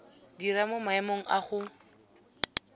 dira mo maemong a go